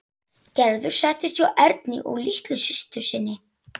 Gerður settist hjá Erni og litlu systur sinni.